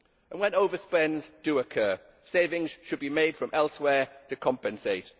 When overspends do occur, savings should be made from elsewhere to compensate.